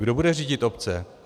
Kdo bude řídit obce?